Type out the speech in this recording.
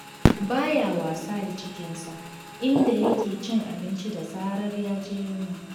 Ba ya wasa da cikinsa, inda yake cin abinci da zarar ya ji yunwa.